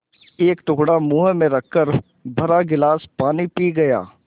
एक टुकड़ा मुँह में रखकर भरा गिलास पानी पी गया